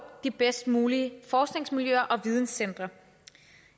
de bedst mulige forskningsmiljøer og videncentre